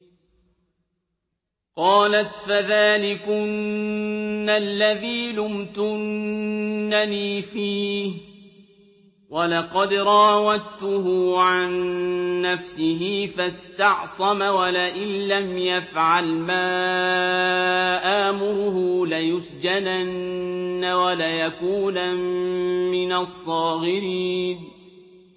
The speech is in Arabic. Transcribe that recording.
قَالَتْ فَذَٰلِكُنَّ الَّذِي لُمْتُنَّنِي فِيهِ ۖ وَلَقَدْ رَاوَدتُّهُ عَن نَّفْسِهِ فَاسْتَعْصَمَ ۖ وَلَئِن لَّمْ يَفْعَلْ مَا آمُرُهُ لَيُسْجَنَنَّ وَلَيَكُونًا مِّنَ الصَّاغِرِينَ